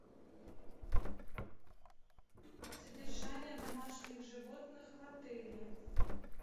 содержание домашних животных в отеле